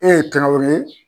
E ye Kaŋawore